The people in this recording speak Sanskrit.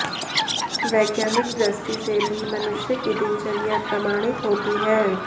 वैज्ञानिक दृष्टि से भी मनुष्य की दिनचर्या प्रमाणित होती है